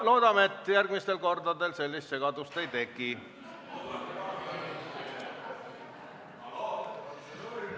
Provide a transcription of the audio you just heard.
Loodame, et järgmistel kordadel sellist segadust ei teki.